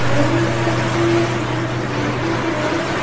From the picture we see a cemented road.